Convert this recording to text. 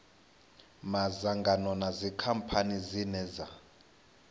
madzangano na dzikhamphani dzine dza